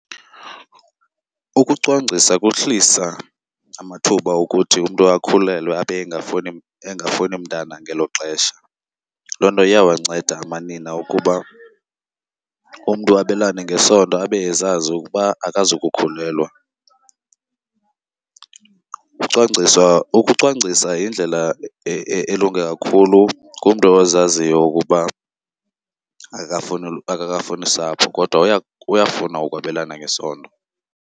Ukucwangcisa kuhlisa amathuba okuthi umntu akhulelwe abe engafuni mntana ngelo xesha. Loo nto iyawanceda amanina ukuba umntu abelane ngesondo abe ezazi ukuba akazukukhulelwa. Ucwangcisa, ukucwangcisa yindlela elunge kakhulu kumntu ozaziyo ukuba akakafuni sapho kodwa uyafuna ukwabelana ngesondo.